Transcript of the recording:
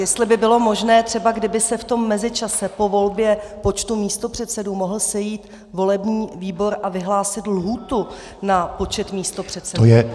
Jestli by bylo možné třeba, kdyby se v tom mezičase po volbě počtu místopředsedů mohl sejít volební výbor a vyhlásit lhůtu na počet místopředsedů.